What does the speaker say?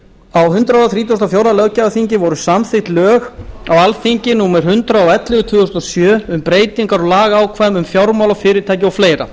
á hundrað þrítugasta og fjórða löggjafarþingi voru samþykkt á alþingi lög númer hundrað og ellefu tvö þúsund og sjö um breytingar á lagaákvæðum um fjármálafyrirtæki og fleiri